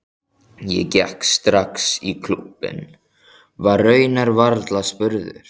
Ég gekk strax í klúbbinn, var raunar varla spurður.